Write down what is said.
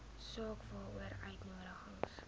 saak waaroor uitnodigings